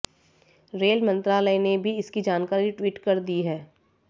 rail मंत्रालय ने भी इसकी जानकारी ट्वीट कर दी है